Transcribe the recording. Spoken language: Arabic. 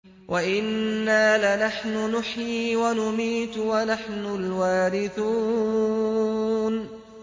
وَإِنَّا لَنَحْنُ نُحْيِي وَنُمِيتُ وَنَحْنُ الْوَارِثُونَ